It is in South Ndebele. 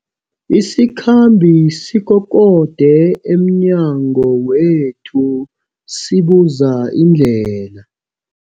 Isikhambi sikokode emnyango wethu sibuza indlela.